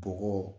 Bɔgɔ